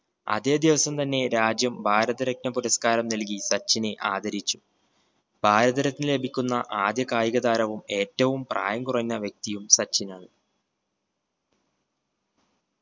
അതെ ദിവസം തന്നെ രാജ്യം ഭാരത് രത്‌ന പുരസ്ക്കാരം നൽകി സച്ചിനെ ആദരിച്ചു. ഭാരത് രത്ന ലഭിക്കുന്ന ആദ്യ കായിക താരവും ഏറ്റവും പ്രായം കുറഞ്ഞ വ്യക്തിയും സച്ചിനാണ്